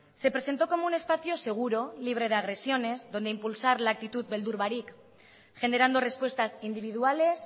se presentó como un espacio seguro libre de agresiones donde impulsar la actitud beldur barik generando respuestas individuales